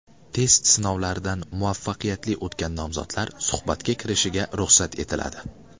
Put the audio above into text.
Test sinovlaridan muvaffaqiyatli o‘tgan nomzodlar suhbatga kirishiga ruxsat etiladi.